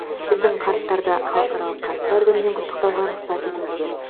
біздің қарттарды халықаралық қарттар күнімен құттықтауға рұқсат етіңіздер